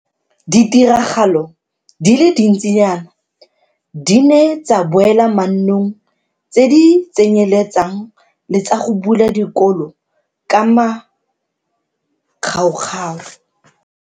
Ditiragalo di le dintsinyana di ne tsa boela mannong, tse di tsenyeletsang le tsa go bula dikolo ka makgaokgao.